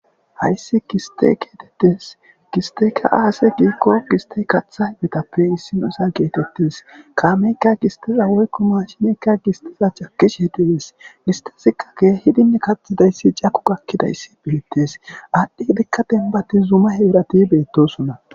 Hayssi giste geetettes gisteyka aase giikko gistey katha hibetappe issinosa geetettes kaameykka gistiza woykko mashineykka gistiza cakish he dudes giste sikake hidine kaxhidayssi caku gakkidayssi phiittes aadhdhi ibekka denbati zuma heerati beettosonna.